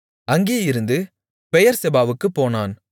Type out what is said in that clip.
அங்கேயிருந்து பெயெர்செபாவுக்குப் போனான்